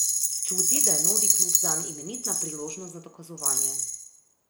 Čuti, da je novi klub zanj imenitna priložnost za dokazovanje.